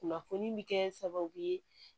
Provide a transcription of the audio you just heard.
Kunnafoni bi kɛ sababu ye